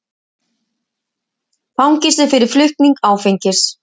Fangelsi fyrir flutning áfengis